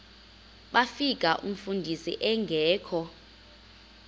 bafika umfundisi engekho